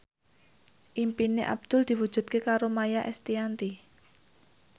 impine Abdul diwujudke karo Maia Estianty